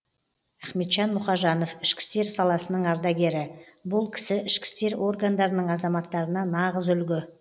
ахметжан мұқажанов ішкі істер саласының ардагері бұл кісі ішкі істер органдарының азаматтарына нағыз үлгі